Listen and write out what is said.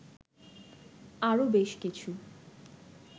আরও বেশ কিছু